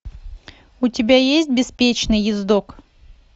у тебя есть беспечный ездок